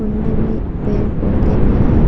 कुण्डी में पेड़ पौधे भी है।--